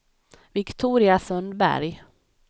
Viktoria Sundberg